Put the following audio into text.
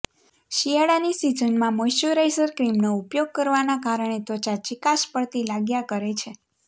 શિયાળાની સીઝનમાં મોઇશ્ચરાઇઝર ક્રીમનો ઉપયોગ કરવાના કારણે ત્વચા ચીકાશ પડતી લાગ્યા કરે છે